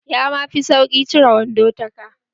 Yama fi sauƙi cire wando ta ka.